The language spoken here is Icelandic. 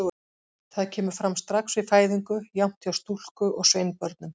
Það kemur fram strax við fæðingu, jafnt hjá stúlku- og sveinbörnum.